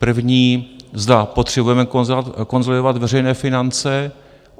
První, zda potřebujeme konsolidovat veřejné finance.